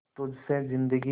तुझ से जिंदगी